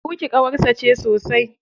Ruky ƙawarsa ce sosai.